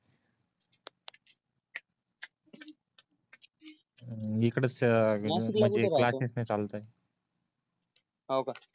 इकडेच म्हणजे क्लास्सेस चालते हो काय